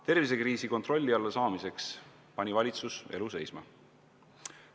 Tervisekriisi kontrolli alla saamiseks pani valitsus elu seisma.